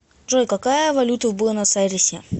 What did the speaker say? джой какая валюта в буэнос айресе